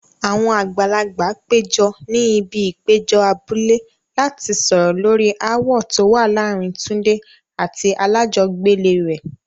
Àwọn àgbàlagbà péjọ ní ibi ìpéjọ abúlé láti sọ̀rọ̀ lórí ááwọ̀ tó wà láàárín Tunde àti alájọgbélé rẹ̀.